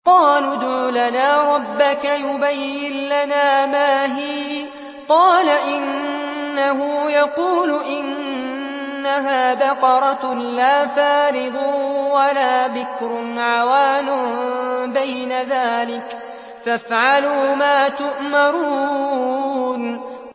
قَالُوا ادْعُ لَنَا رَبَّكَ يُبَيِّن لَّنَا مَا هِيَ ۚ قَالَ إِنَّهُ يَقُولُ إِنَّهَا بَقَرَةٌ لَّا فَارِضٌ وَلَا بِكْرٌ عَوَانٌ بَيْنَ ذَٰلِكَ ۖ فَافْعَلُوا مَا تُؤْمَرُونَ